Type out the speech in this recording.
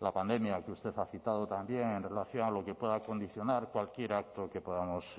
la pandemia que usted ha citado también en relación a lo que pueda condicionar cualquier acto que podamos